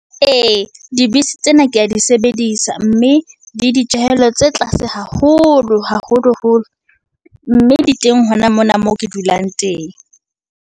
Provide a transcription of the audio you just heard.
Ee, dibese tsena ke ya di sebedisa, mme le ditjehelo tse tlase haholo haholoholo. Mme di teng hona mona moo ke dulang teng.